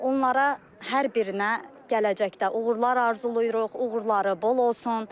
Onlara hər birinə gələcəkdə uğurlar arzulayırıq, uğurları bol olsun.